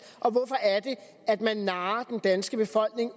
og hvorfor er det at man narrer den danske befolkning